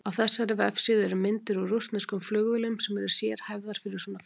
Á þessari vefsíðu eru myndir úr rússneskum flugvélum sem eru sérhæfðar fyrir svona flug.